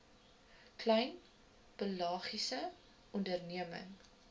klein pelagiese onderneming